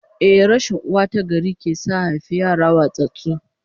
Ehh, rashin uwa tagari ke kawo a haifi yara watsattsu